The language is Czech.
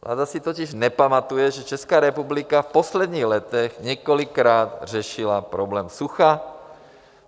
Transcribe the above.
Vláda si totiž nepamatuje, že Česká republika v posledních letech několikrát řešila problém sucha.